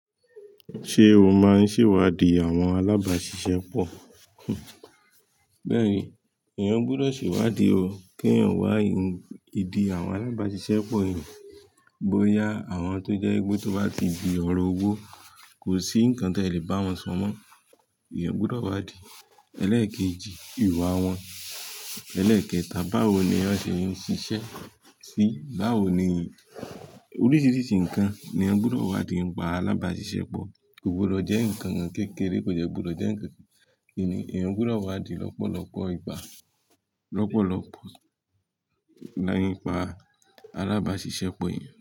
Ṣé o máa ń ṣèwádìí àwọn alábàáṣiṣẹ́ pọ̀? Bẹ́ẹ̀ ni, eeyan gbọdọ̀ ṣèwádìí o. Kí èèyàn wá ìdí àwọn alábáṣiṣẹ́ pọ̀ eeyan. Bo ya àwọn tó jẹ́ wipe tó bá ti di òro òwò, kò sí ǹnkan ti e lè bá wọn so mó. Eeyan gbọdọ̀ wádìí. Ẹlẹ́ẹ̀kejì, ìwà wọn. Ẹlẹ́ẹ̀kẹta, báwo ni wọ́n ṣe ń ṣiṣẹ́ sí i? Báwo ni oríṣiríṣi ǹnkan ni eeyan gbọdọ̀ wádìí nípa alábáṣiṣẹ́ pọ̀. Kò gbọdọ̀ jẹ́ ǹnkan kékeré, kò de gbọdọ̀ jẹ́ ǹnkan kìíni. Eeyan gbọdọ̀ wádìí lọ́pọ̀lọpọ̀ ìgbà, lọ́pọ̀lọpọ̀ nipa alábáṣiṣẹ́ pọ̀ eeyan.